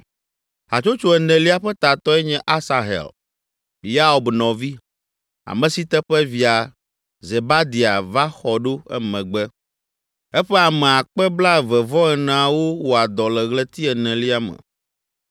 Hatsotso enelia ƒe tatɔe nye Asahel, Yaob nɔvi, ame si teƒe via Zebadia va xɔ ɖo emegbe. Eƒe ame akpe blaeve-vɔ-eneawo (24,000) wɔa dɔ le ɣleti enelia me.